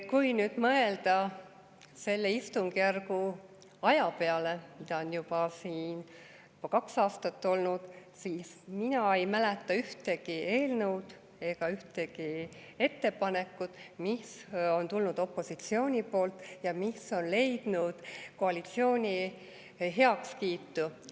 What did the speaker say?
Kui nüüd mõelda selle istungjärgu aja peale, mida on olnud juba kaks aastat, siis mina ei mäleta ühtegi eelnõu ega ühtegi ettepanekut, mis on tulnud opositsioonilt ja mis on leidnud koalitsiooni heakskiitu.